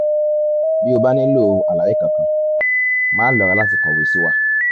bí o bá nílò àlàyé kankan máà lọ́ra láti kọ̀wé sí wa